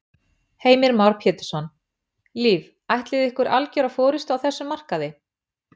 Heimir Már Pétursson: Liv ætlið þið ykkur algjöra forystu á þessum markaði?